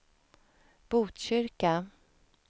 Botkyrka